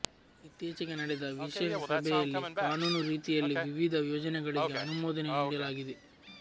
ಇತ್ತೀಚೆಗೆ ನಡೆದ ವಿಶೇಷ ಸಭೆಯಲ್ಲಿ ಕಾನೂನು ರೀತಿಯಲ್ಲೇ ವಿವಿಧ ಯೋಜನೆಗಳಿಗೆ ಅನುಮೋದನೆ ನೀಡಲಾಗಿದೆ